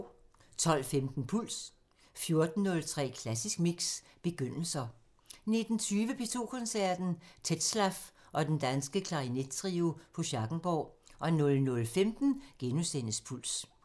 12:15: Puls 14:03: Klassisk Mix – begyndelser 19:20: P2 Koncerten – Tetzlaff og Den Danske Klarinettrio på Schackenborg 00:15: Puls *